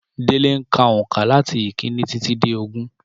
Délé ń ka òǹkà làti ìkíní títí dé ogún